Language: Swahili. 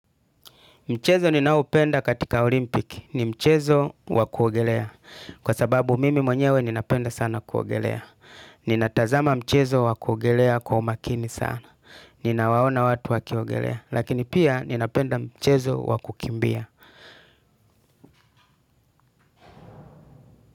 Mchezo ninaopenda katika olimpiki. Ni mchezo wakuogelea. Kwa sababu mimi mwenyewe ninapenda sana kuogelea. Ninatazama mchezo wakuogelea kwa umakini sana. Ninawaona watu wakiogelea. Lakini pia ninapenda mchezo wakukimbia.